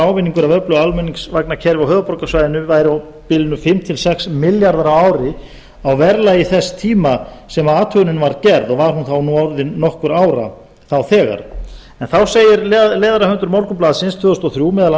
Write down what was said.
ávinningur af öllu almenningsvagnakerfi á höfuðborgarsvæðinu væri á bilinu fimm til sex milljarðar á ári á verðlagi þess tíma sem athugunin var gerð og var hún þá nú orðin nokkurra ára nú þegar en þá segir leiðarahöfundur morgunblaðsins árið tvö þúsund og þrjú meðal annars